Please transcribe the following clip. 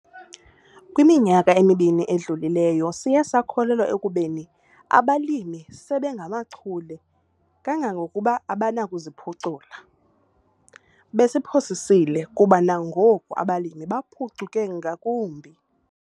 Kwiminyaka emibini edlulileyo, siye sakholelwa ekubeni abalimi sebengamachule kangangokuba abanakuziphucula - besiphosisile kuba nangoku abalimi baphucuke ngakumbi!